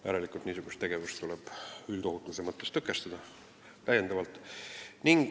Järelikult tuleb niisugust tegevust üldohutuse mõttes täiendavalt tõkestada.